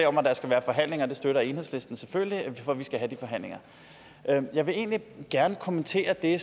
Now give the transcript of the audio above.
om at der skal være forhandlinger det støtter enhedslisten selvfølgelig for vi skal have de forhandlinger jeg vil egentlig gerne kommentere det